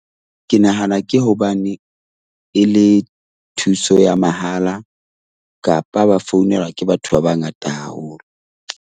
Ke nahana ke hobane e le thuso ya mahala kapa ba founelwa ke batho ba bangata haholo .